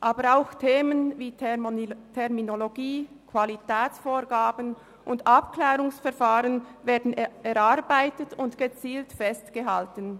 Aber auch Themen wie Terminologie, Qualitätsvorgaben und Abklärungsverfahren werden erarbeitet und gezielt festgehalten.